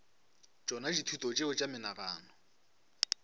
tšona dithuto tšeo tša menagano